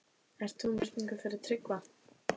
Ert þú með spurningu fyrir Tryggva?